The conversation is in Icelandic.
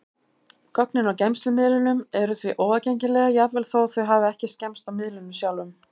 Gögnin á geymslumiðlunum eru því óaðgengileg, jafnvel þó þau hafi ekki skemmst á miðlinum sjálfum.